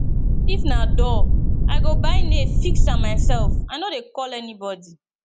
if na door i go buy nail fix am mysef i no dey call anybodi